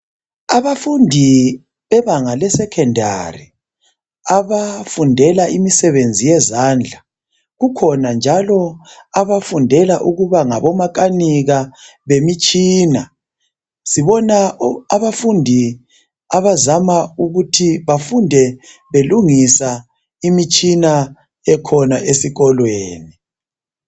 Abafundi bebanga lesecondary abafundela imisebenzi yezandla kukhona njalo abafundela ukuba ngabomakanika bemitshina , sibona abafundi abazama ukuthi befunde belungisa imitshina ekhona esikolweni.